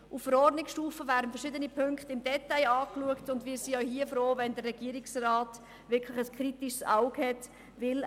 Auf Verordnungsstufe werden verschiedene Punkte im Detail angeschaut, und wir wären auch hier froh, wenn der Regierungsrat wirklich ein kritisches Auge hat darauf hielte.